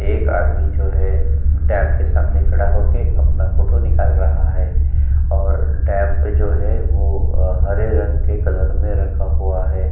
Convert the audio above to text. एक आदमी जो है डैम के सामने खड़ा होके अपना फोटो निकाल रहा है और डैम पे जो है हरे रंग के कलर में रंगा हुआ है।